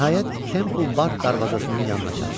Nəhayət, Temple Bar darvazasının yanına çatdı.